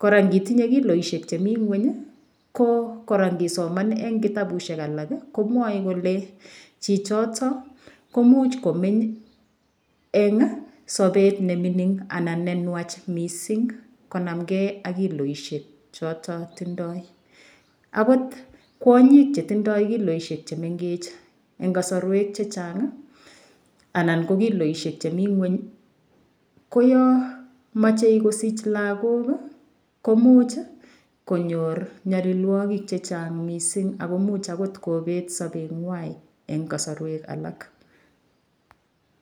kora ngitinye kiloishek chemi ng'weny ko kora ngisoman eng' kitabushek alak komwoei kole chichoto komuuch komeny eng' sobet nemining' anan nenwach mising' konamgei ak kiloishek choto tindoi akot kwonyik chetindoi kiloishek chemengech eng' kasarwek chechang' anan ko kiloishek chemi ng'weny ko yo mochei kosich lakok komuch konyor nyalilwokik chechang' mising' ako muuch akobet sobeng'wai eng' kosorwek alak